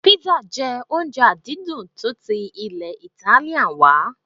Pizza jẹ satelaiti savory ti orisun Itali